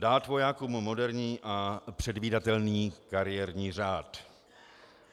Dát vojákům moderní a předvídatelný kariérní řád.